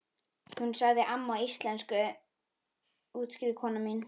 Hún sagði amma á íslensku útskýrði kona mín.